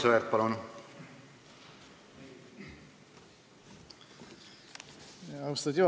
Aivar Sõerd, palun!